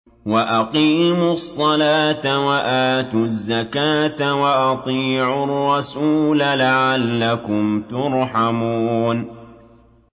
وَأَقِيمُوا الصَّلَاةَ وَآتُوا الزَّكَاةَ وَأَطِيعُوا الرَّسُولَ لَعَلَّكُمْ تُرْحَمُونَ